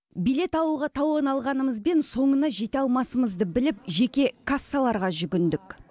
билет алуға талон алғанымызбен соңына жете алмасымызды біліп жеке кассаларға жүгіндік